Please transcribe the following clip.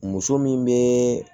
Muso min bɛ